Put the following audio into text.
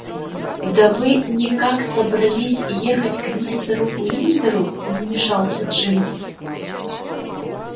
да вы никак собрались ехать к мистеру уиндеру вмешался джимс